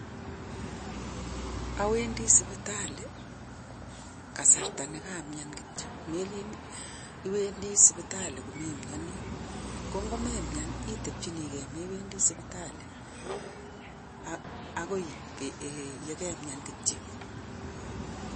Owendii sipitali kasarta nekamian kityok meleen iwendii sipitali komemionii ko nko memianii itepjinii gee mewendii sipitali akoi eeh yekemian kityok.